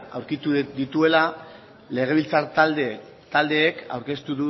aurkitu dituela legebiltzar taldeek aurkeztu